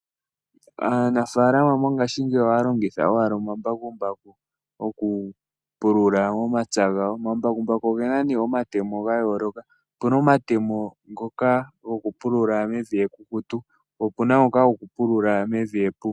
Aanafaalama mongaashingeyi ohaya longitha owala omambakumbaku oku pulula moma pya gawo. Omambakumbaku ogena nee omatemo ga yooloka, Opuna omatemo ngoka goku pulula mevi ekukutu po opuna ngoka goku pulula mevi epu.